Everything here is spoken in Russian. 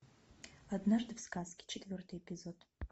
однажды в сказке четвертый эпизод